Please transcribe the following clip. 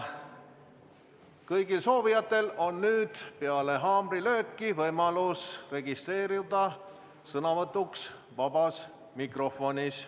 Kõigil soovijatel on nüüd peale haamrilööki võimalus registreeruda sõnavõtuks vabas mikrofonis.